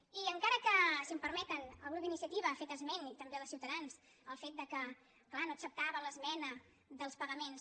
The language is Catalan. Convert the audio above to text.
i encara que si em permeten el grup d’iniciativa ha fet esment i també el de ciutadans del fet que clar no acceptaven l’esmena dels pagaments